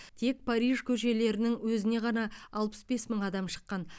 тек париж көшелерінің өзіне ғана алпыс бес мың адам шыққан